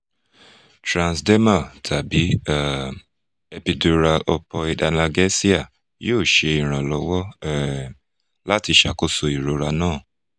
transdermal tabi um epidural opioid analgesia yoo ṣe iranlọwọ um lati ṣakoso irora naa